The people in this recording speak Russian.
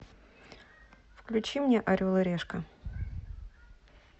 включи мне орел и решка